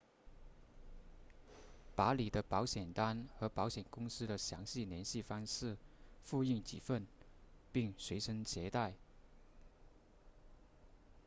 把你的保险单和保险公司的详细联系方式复印几份并随身携带